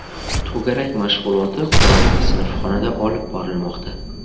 To‘garak mashg‘uloti qorong‘i sinfxonada olib borilmoqda.